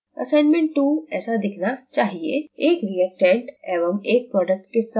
assignment 2 ऐसा देखना चाहिए: एक reactant एवं एक product के साथ statetransition reaction